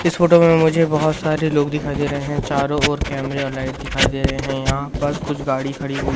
इस फोटो में मुझे बहोत सारे लोग दिखाई दे रहे हैं चारों ओर कैमरे और लाइट दिखाई दे रहे हैं यहां पर कुछ गाड़ी खड़ी हुई--